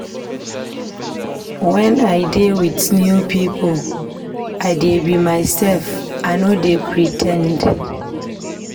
Wen I dey wit new pipo, I dey be mysef, I no dey pre ten d.